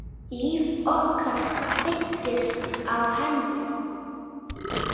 Líf okkar byggist á henni.